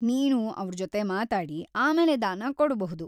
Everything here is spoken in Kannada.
ನೀನು ಅವ್ರ್‌ ಜೊತೆ ಮಾತಾಡಿ ಆಮೇಲೆ ದಾನ ಕೊಡ್ಬಹುದು.